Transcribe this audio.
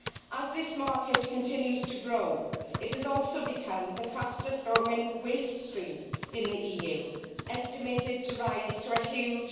As this market continues to grow, it has also become the fastest growing waste stream in the EU, estimated to rise to a huge